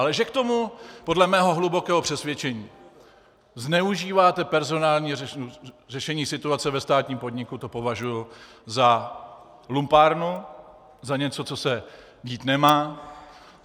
Ale že k tomu podle mého hlubokého přesvědčení zneužíváte personální řešení situace ve státním podniku, to považuji za lumpárnu, za něco, co se dít nemá.